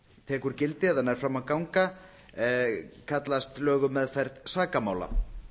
tekur gildi eða nær fram að ganga kallast lög um meðferð sakamála